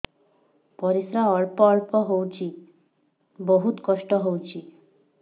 ପରିଶ୍ରା ଅଳ୍ପ ଅଳ୍ପ ହଉଚି ବହୁତ କଷ୍ଟ ହଉଚି